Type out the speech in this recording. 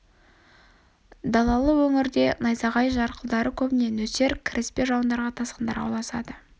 далалы өңірде найзағай жарқылдары көбіне нөсер кіріспе жауындарға тасқындарға ұласады